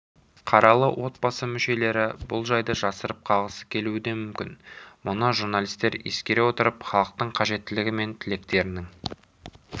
қаралы отбасы мүшелері бұл жайды жасырып қалғысы келуі де мүмкін мұны журналистер ескере отырып халықтың қажеттілігі мен тілектерінің